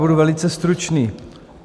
Budu velice stručný.